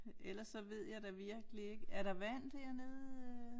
Eller så ved jeg da virkelig ikke er der vand dernede øh